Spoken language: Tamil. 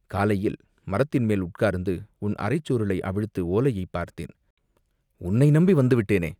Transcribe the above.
காலையில் மரத்தின் மேல் உட்கார்ந்து உன் அரைச் சுருளை அவிழ்த்து ஓலையைப் பார்த்தேன், உன்னை நம்பி வந்துவிட்டேனே